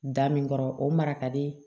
Da min kɔrɔ o mara ka di